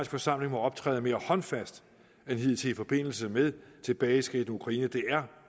forsamling må optræde mere håndfast end hidtil i forbindelse med tilbageskridt i ukraine det er